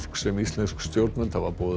sem íslensk stjórnvöld hafa boðið að